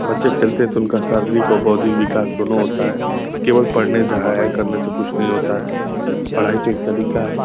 बच्चे खेलते हैं तो उनका शारीरिक और बौधिक विकाश दोनों होता है। केवल पढने से हाय-हाय करने से कुछ नहीं होता है। पढाई तो एक तरीका है।